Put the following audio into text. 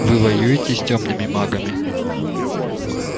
вы воюете с тёмными магами